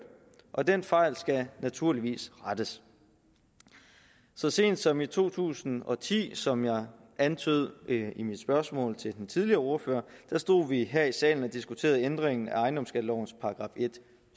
og den fejl skal naturligvis rettes så sent som i to tusind og ti som jeg antydede i mit spørgsmål til den tidligere ordfører stod vi her i salen og diskuterede ændringen af ejendomsskattelovens § en